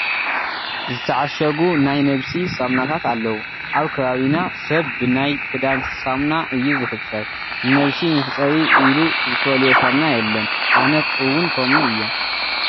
ዝተዓሸጉ ናይ ነብሲ ሳሙናታት ኣለዉ፡፡ ኣብ ከባቢና ሰብ ብናይ ክዳን ሳሙና እዩ ዝሕፀብ፡፡ ንነብሲ መሕፀቢ ኢሉ ዝፈልዮ ሳሙና የለን፡፡ ኣነ እውን ከምኡ እየ፡፡